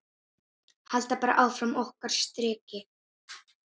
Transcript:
Halda bara áfram okkar striki.